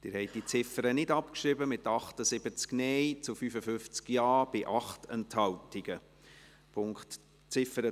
Sie haben die Ziffer 1 der Motion mit 55 Ja- zu 78 Nein-Stimmen bei 8 Enthaltungen nicht abgeschrieben.